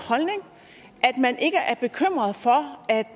man ikke er bekymret for at